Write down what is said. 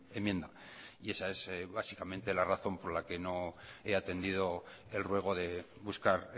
enmienda y esa es básicamente la razón por la que no he atendido el ruego de buscar